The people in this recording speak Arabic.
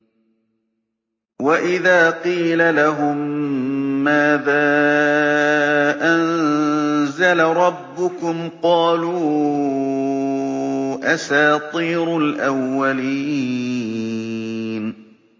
وَإِذَا قِيلَ لَهُم مَّاذَا أَنزَلَ رَبُّكُمْ ۙ قَالُوا أَسَاطِيرُ الْأَوَّلِينَ